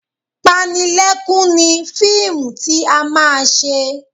Panilẹ́kún ni fíìmù tí a máa ṣe